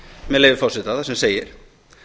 með leyfi forseta þar sem segir